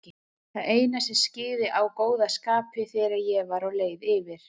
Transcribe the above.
Það eina sem skyggði á góða skapið þegar ég var á leið yfir